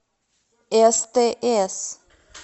стс